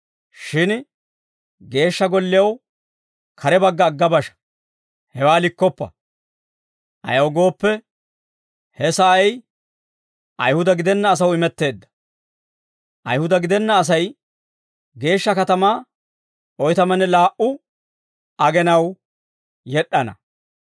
Shin Geeshsha Gollew kare bagga agga basha; hewaa likkoppa. Ayaw gooppe, he sa'ay Ayihuda gidenna asaw imetteedda. Ayihuda gidenna Asay geeshsha katamaa oytamanne laa"u agenaw yed'd'ana.